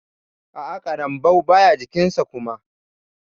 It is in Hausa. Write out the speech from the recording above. A'a ƙarambau baya jikin sa kuma.